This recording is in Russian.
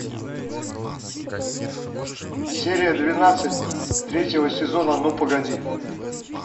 серия двенадцать третьего сезона ну погоди